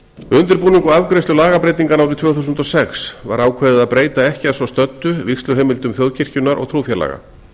undirbúning og afgreiðslu lagabreytinganna árið tvö þúsund og sex var ákveðið að breyta ekki að svo stöddu vígsluheimildum þjóðkirkjunnar og trúfélaga